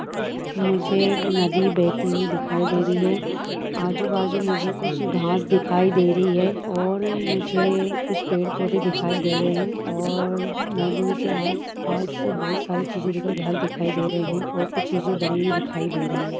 मुझे नदी बहती हुई दिखाई दे रही है आजू-बाजू मुझे कुछ घास दिखाई दे रही है और मुझे कुछ पेड़ पौधे दिखाई दे रहे हैं और नदी के आसपास बहुत सारी चीज घर दिखाई दे रही है और कुछ चीज बनी हुई दिखाई दे रही है।